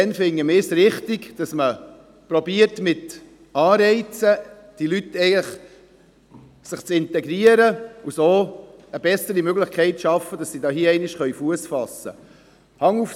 Wir finden es richtig, dass man mit Anreizen versucht, die Leute zu integrieren, um so eine bessere Möglichkeit zu schaffen, dass sie hier einmal Fuss fassen können.